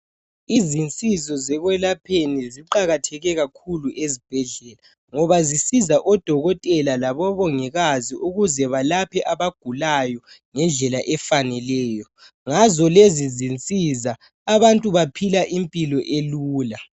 Izinsizo zekwelapheni ziqakathekile kakhulu esibhedlela ngoba zisiza odokotela labomongikazi ukuze balaphe abagulayo ngendlela efaneleyo. Ngazo lezi zinsiza abantu baphila impilo elula.